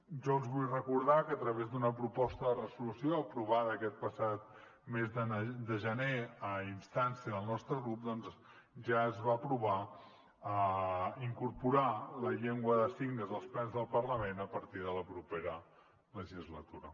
jo els vull recordar que a través d’una proposta de resolució aprovada aquest passat mes de gener a instància del nostre grup ja es va aprovar incorporar la llengua de signes als plens del parlament a partir de la propera legislatura